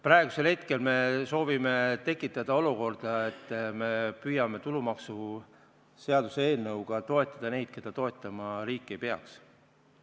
Praegu me soovime tekitada olukorda, kus me püüame tulumaksuseaduse eelnõuga toetada neid, keda riik toetama ei peaks.